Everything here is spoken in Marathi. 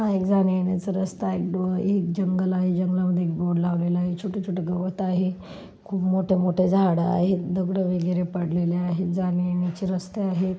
हा एक जाण्यायेण्याचा रस्ता आहे एक डो एक जंगल आहे जंगलामध्ये एक बोर्ड लावलेला आहे. छोटे छोटे गवत आहे खूप मोठ्या मोठ्या झाड आहेत. दगड वगैरे पडलेले आहेत जाण्यायेण्याची रस्ते आहे.